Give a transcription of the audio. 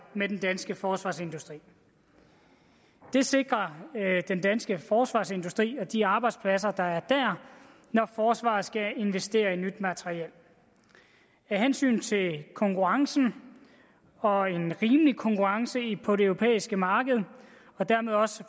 med den danske forsvarsindustri det sikrer den danske forsvarsindustri og de arbejdspladser der er der når forsvaret skal investere i nyt materiel af hensyn til konkurrencen og en rimelig konkurrence på det europæiske marked og dermed også